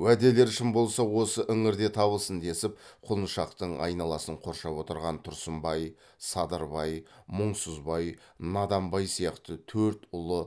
уәделері шын болса осы іңірде табылсын десіп құлыншақтың айналасын қоршап отырған тұрсынбай садырбай мұңсызбай наданбай сияқты төрт ұлы